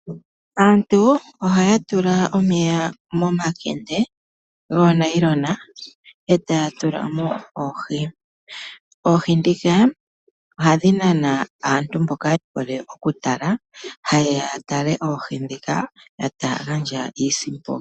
Aantu ohaya tula omeya momakende goonayilona e taya tula mo oohi. Oohi dhika ohadhi nana aantu mboka yehole oku tala, ha ye ya yatale oohi dhika e taya gandja iisimpo.